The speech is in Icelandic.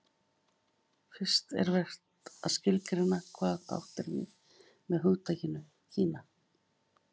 fyrst er vert að skilgreina hvað átt er við með hugtakinu kína